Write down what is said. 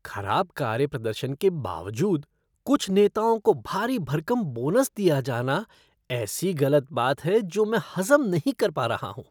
खराब कार्य प्रदर्शन के बावजूद कुछ नेताओं को भारी भरकम बोनस दिया जाना ऐसी गलत बात है जो मैं हज़म नहीं कर पा रहा हूँ।